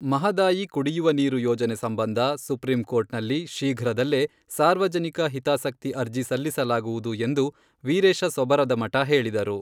ಮಹದಾಯಿ ಕುಡಿಯುವ ನೀರು ಯೋಜನೆ ಸಂಬಂಧ ಸುಪ್ರೀಂ ಕೋರ್ಟ್ನಲ್ಲಿ ಶೀಘ್ರದಲ್ಲೇ ಸಾರ್ವಜನಿಕ ಹಿತಾಸಕ್ತಿ ಅರ್ಜಿ ಸಲ್ಲಿಸಲಾಗುವುದು ಎಂದು ವಿರೇಶ ಸೊಬರದಮಠ ಹೇಳಿದರು.